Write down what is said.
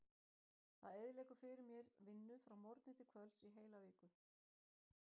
Það eyðileggur fyrir mér vinnu frá morgni til kvölds í heila viku.